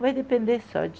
Vai depender só de